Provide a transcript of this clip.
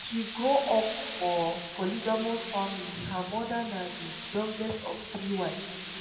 she grow up for polygamous family her mother na di youngest of three wives.